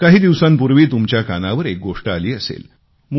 काही दिवसांपूर्वी तुमच्या कानावर एक गोष्ट आली असेल